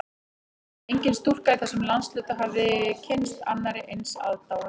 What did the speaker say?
Engin stúlka í þessum landshluta hafði kynnst annarri eins aðdáun